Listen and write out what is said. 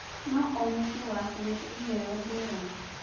No-o-mũciĩ wakuwĩte iheyo ngũrani.